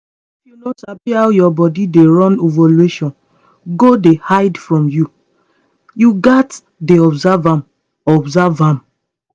if you no sabi how your body dey run ovulation go dey hide from you. you gats dey observe am observe am